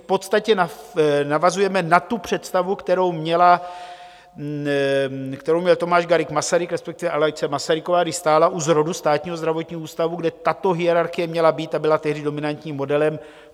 V podstatě navazujeme na tu představu, kterou měl Tomáš Garrigue Masaryk, respektive Alice Masaryková, když stála u zrodu Státního zdravotního ústavu, kde tato hierarchie měla být a byla tehdy dominantním modelem.